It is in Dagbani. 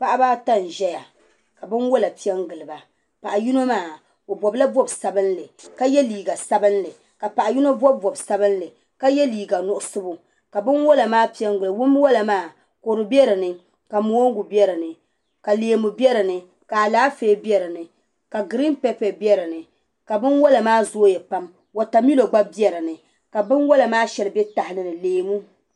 Paɣaba ata n ʒɛya ka binwola piɛ n giliba paɣa yino maa o bobla bob sabinli ka yɛ liiga sabinli ka paɣa yino bob bob sabinli ka yɛ liiga nuɣso ka binwola piɛ n gilo binwola maa kodu biɛ dinni ka mongu biɛ dinni ka kodu biɛ dinni ka Alaafee biɛ dinni ka giriin pɛpɛ biɛ dinni ka binwola maa zooya pam wotamilo gba biɛ dinni ka binwola maa shɛli bɛ tahali ni leemu